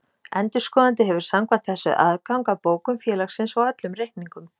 Endurskoðandi hefur samkvæmt þessu aðgang að bókum félagsins og öllum reikningum.